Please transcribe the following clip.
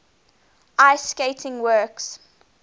ice skating works